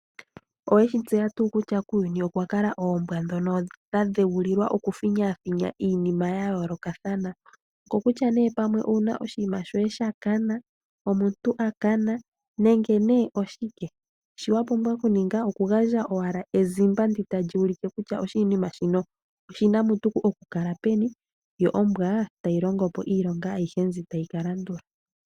Oweshi tseya tuu kutya kuuyuni okwa kala oombwa ndhono dha dheulilwa oku finyaafinya iinima ya yoolokathana oko kutya nee pamwe owuna oshinima shoye sha kana, omuntu a kana nenge nee oshike, shi wa pumbwa okuninga oku gandja owala ezimba ndi tali ulike kutya oshinima shino oshina mutu oku kala peni, yo ombwa tayi longo po iilonga ayihe mbi tayi ka landula.